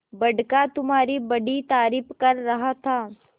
बड़का तुम्हारी बड़ी तारीफ कर रहा था